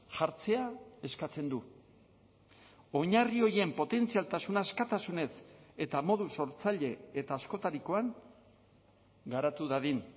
jartzea eskatzen du oinarri horien potentzialtasuna askatasunez eta modu sortzaile eta askotarikoan garatu dadin